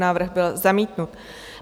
Návrh byl zamítnut.